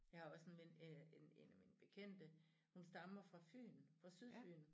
Jeg har også en ven øh en en af mine bekendte hun stammer fra Fyn fra Sydfyn